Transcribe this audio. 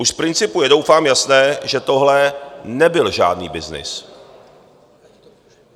Už z principu je doufám jasné, že tohle nebyl žádný byznys.